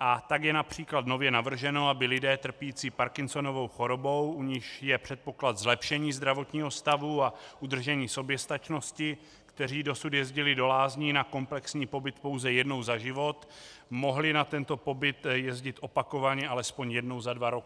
a tak je například nově navrženo, aby lidé trpící Parkinsonovou chorobou, u nichž je předpoklad zlepšení zdravotního stavu a udržení soběstačnosti, kteří dosud jezdili do lázní na komplexní pobyt pouze jednou za život, mohli na tento pobyt jezdit opakovaně alespoň jednou za dva roky.